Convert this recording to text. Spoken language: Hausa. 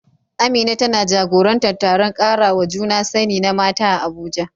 Amina tana jagorantar taron karawa juna sani na mata a Abuja.